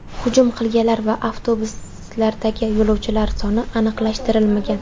Hujum qilganlar va avtobuslardagi yo‘lovchilar soni aniqlashtirilmagan.